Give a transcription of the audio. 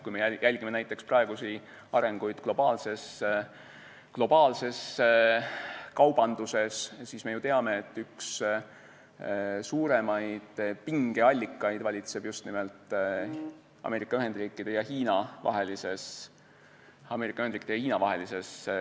Kui me vaatame näiteks arenguid globaalses kaubanduses, siis me ju teame, et üks suuremaid pingeallikaid on just nimelt Ameerika Ühendriikide ja Hiina vahelistes kaubandussuhetes.